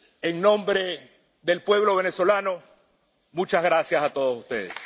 En nombre del pueblo venezolano, ¡muchas gracias a todos ustedes!